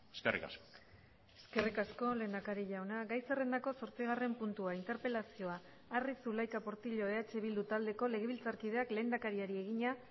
eskerrik asko eskerrik asko lehendakari jauna gai zerrendako zortzigarren puntua interpelazioa arri zulaika portillo eh bildu taldeko legebiltzarkideak lehendakariari egina